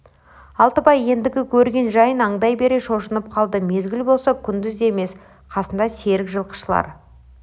алтыбай ендігі көрген жайын аңдай бере шошынып қалды мезгіл болса күндіз де емес қасында серік жылқышылар